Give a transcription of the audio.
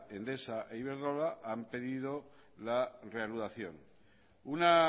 endesa e iberdrola han pedido la reanudación una